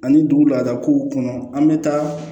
Ani dugu laada k'u kɔnɔ an bɛ taa